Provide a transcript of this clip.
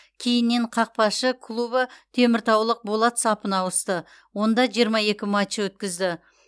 кейіннен қақпашы клубы теміртаулық болат сапына ауысты онда жиырма екі матч өткізді